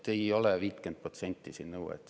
Ei ole 50% nõuet.